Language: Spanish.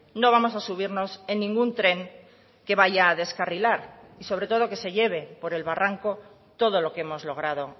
no vamos a subirnos en ningún tren que vaya a descarrilar y sobre todo que se lleve por el barranco todo lo que hemos logrado